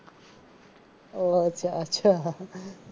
ઓહ અચ્છા અચ્છા.